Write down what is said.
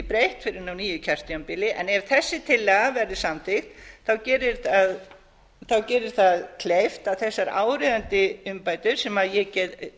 breytt fyrr en á nýju kjörtímabili en ef þessi tillaga verður samþykkt gerir það kleift að þessar áríðandi umbætur sem ég